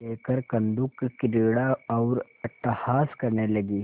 लेकर कंदुकक्रीड़ा और अट्टहास करने लगी